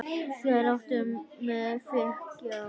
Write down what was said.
Láttu mig þekkja það.